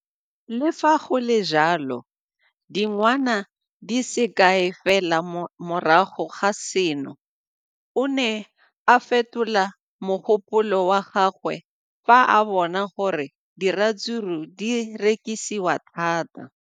Le fa go le jalo, dingwaga di se kae fela morago ga seno, o ne a fetola mogopolo wa gagwe fa a bona gore diratsuru di rekisiwa thata.